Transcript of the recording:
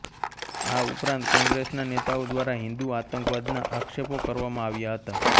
આ ઉપરાંત કોગ્રેસના નેતાઓ દ્વારા હિંદુ આતંકવાદના આક્ષેપો કરવામાં આવ્યા હતા